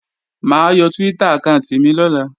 Mà á yọ Twitter àkáànti mi lọ́la